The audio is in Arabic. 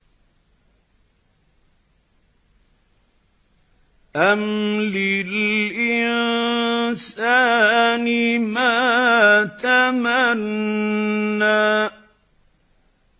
أَمْ لِلْإِنسَانِ مَا تَمَنَّىٰ